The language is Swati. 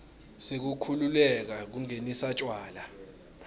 sekukhululeka kungenisa tjwala